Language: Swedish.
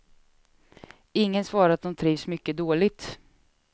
Ingen svarar att de trivs mycket dåligt.